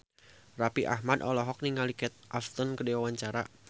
Raffi Ahmad olohok ningali Kate Upton keur diwawancara